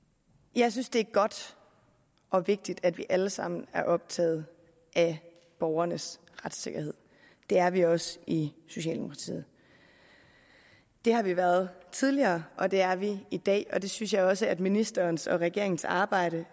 jeg synes det er godt og vigtigt at vi alle sammen er optaget af borgernes retssikkerhed det er vi også i socialdemokratiet det har vi været tidligere og det er vi i dag og det synes jeg også at ministerens og regeringens arbejde